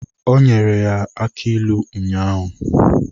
Ọ nyere ya aki ilu ụnyaahụ.